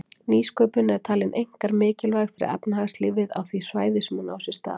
Nýsköpun er talin einkar mikilvæg fyrir efnahagslífið á því svæði sem hún á sér stað.